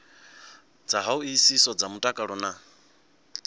dza hoisiso dza mutakalo na